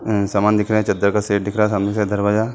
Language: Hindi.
अ सामान दिख रहा है चद्दर का शेड दिख रहा है सामने से दरवाज़ा --